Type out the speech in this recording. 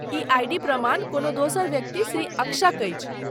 E I. D प्रमाण कोनो दोसर व्यक्ति, श्री अक्षक अछि।